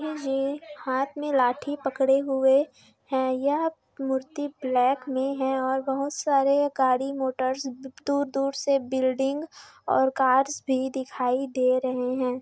गाँधी जी हाथ में लाठी पकड़े हुए हैं यह मूर्ति ब्लैक में हैं और बहोत सारे गाड़ी मोटर्स दूर-दूर से बिल्डिंग और कार्स भी दिखाई दे रहे हैं।